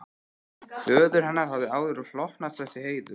Föður hennar hafði áður hlotnast þessi heiður.